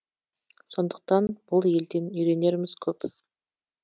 сондықтан бұл елден үйренеріміз көп